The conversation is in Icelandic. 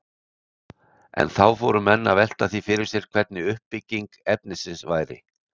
En þá fóru menn að velta því fyrir sér hvernig uppbygging efnisins væri.